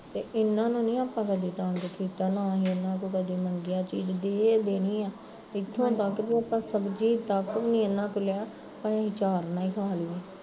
ਤੇ ਇਹਨਾਂ ਨੂੰ ਨੀ ਆਪਾਂ ਕਦੀ ਤੰਗ ਕੀਤਾ ਨਾ ਅਸੀਂ ਕਦੇ ਇਹਨਾਂ ਤੋਂ ਮੰਗਿਆ ਚੀਜ਼ ਦੇ ਦੇਣਈ ਆ ਇੱਥੋਂ ਤੱਕ ਕੀ ਇੱਕ ਸਬਜ਼ੀ ਤੱਕ ਵੀ ਏਹਨਾ ਤੋਂ ਨੀ ਲਿਆ, ਅਸੀਂ ਆਚਾਰ ਨਾਲ਼ ਈ ਖਾਲੀ ਦੀ